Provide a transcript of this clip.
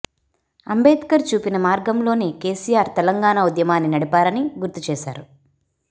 అంబేద్కర్ చూపిన మార్గంలోనే కెసిఆర్ తెలంగాణ ఉద్యమాన్ని నడిపారని గుర్తు చేశారు